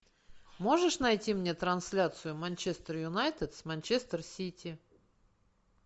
можешь найти мне трансляцию манчестер юнайтед с манчестер сити